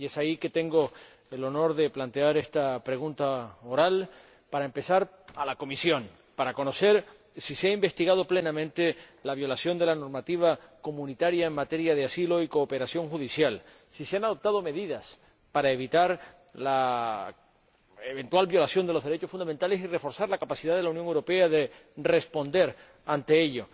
Y es por ello que tengo el honor de plantear esta pregunta oral, para empezar, a la Comisión, para conocer si se ha investigado plenamente la violación de la normativa comunitaria en materia de asilo y cooperación judicial, si se han adoptado medidas para evitar la eventual violación de los derechos fundamentales y reforzar la capacidad de la Unión Europea de responder ante ello